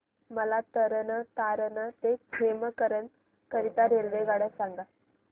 मला तरण तारण ते खेमकरन करीता रेल्वेगाड्या सांगा